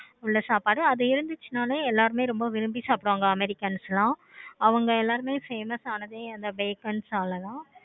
உள்ள சாப்பாடு அது இருந்துச்சுன்னா எல்லாருமே ரொம்ப விரும்பி சாப்பிடுவாங்க americans எல்லாமே அவங்க எல்லாருமே famous ஆனதே அந்த நாலதான்